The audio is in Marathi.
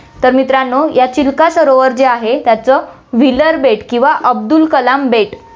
तर मित्रांनो, या चिल्का सरोवर जे आहे, त्याचं व्हीलर बेट किंवा अब्दुल कलाम बेट